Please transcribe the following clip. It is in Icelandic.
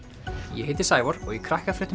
ég heiti Sævar og í